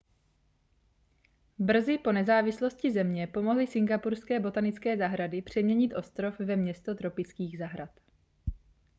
brzy po nezávislosti země pomohly singapurské botanické zahrady přeměnit ostrov ve město tropických zahrad